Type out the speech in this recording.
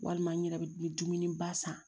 Walima n yɛrɛ bɛ dumuni ba san